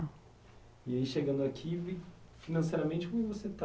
E aí, chegando aqui, financeiramente como você estava?